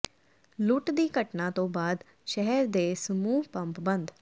ਲੁੱਟ ਦੀ ਘਟਨਾਂ ਤੋਂ ਬਾਅਦ ਸ਼ਹਿਰ ਦੇ ਸਮੂਹ ਪੰਪ ਬੰਦ